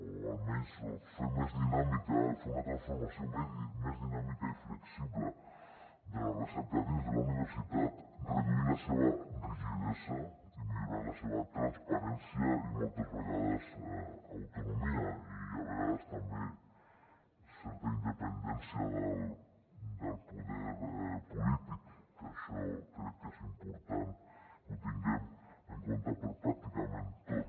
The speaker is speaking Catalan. o almenys fer més dinàmica fer una transformació més dinàmica i flexible de la recerca dins de la universitat reduint la seva rigidesa i millorant la seva transparència i moltes vegades autonomia i a vegades també certa independència del poder polític que això crec que és important que ho tinguem en compte per pràcticament tot